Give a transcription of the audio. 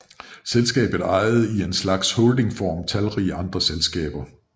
Selskabet ejede i en slags holdingform talrige andre selskaber